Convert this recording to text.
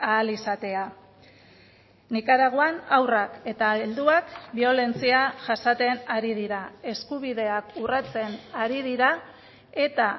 ahal izatea nikaraguan haurrak eta helduak biolentzia jasaten ari dira eskubideak urratzen ari dira eta